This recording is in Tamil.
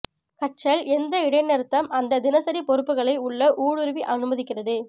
கற்றல் எந்த இடைநிறுத்தம் அந்த தினசரி பொறுப்புகளை உள்ள ஊடுருவி அனுமதிக்கிறது